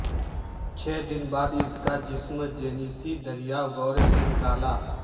چھ دن بعد اس کا جسم جینیسی دریا گور سے نکالا